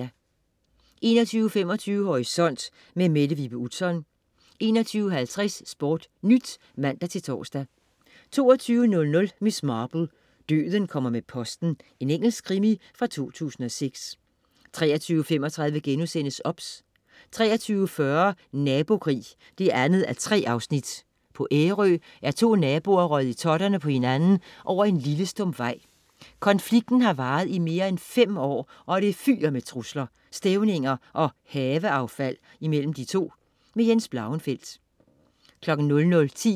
21.25 Horisont. Mette Vibe Utzon 21.50 SportNyt (man-tors) 22.00 Miss Marple: Døden kommer med posten. Engelsk krimi fra 2006 23.35 OBS* 23.40 Nabokrig 2:3. På Ærø er to naboer røget i totterne på hinanden over en lille stump vej. Konflikten har varet i mere end fem år, og det fyger med trusler, stævninger og haveaffald imellem de to. Jens Blauenfeldt